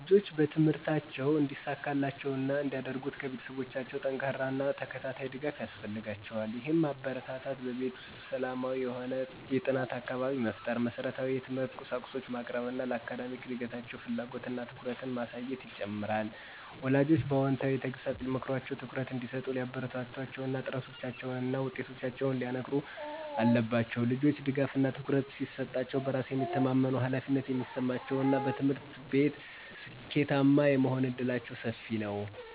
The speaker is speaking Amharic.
ልጆች በትምህርታቸው እንዲሳካላቸው እና እንዲያድርጉ ከቤተሰቦቻቸው ጠንካራ እና ተከታታይ ድጋፍ ያስፈልጋቸዋል። ይህም ማበረታታት፣ በቤት ውስጥ ሰላማዊ የሆነ የጥናት አካባቢ መፍጠር፣ መሰረታዊ የትምህርት ቁሳቁሶችን ማቅረብ እና ለአካዳሚክ እድገታቸው ፍላጎት እና ትኩረትን ማሳየትን ይጨምራል። ወላጆችም በአዎንታዊ ተግሣጽ ሊመክሯቸው፣ ትኩረት እንዲሰጡ ሊያበረታቷቸው እና ጥረቶቻቸውን እና ውጤቶቻቸውን ሊያከንሩ አለባቸው። ልጆች ድጋፍ እና ትኩረት ሲሰጣሸው በራስ የሚተማመመኑ፣ ኃላፊነት የሚሰማቸው እና በትምህርት ቤት ስኬታማ የመሆን እድላቸው ሰፊ ነው።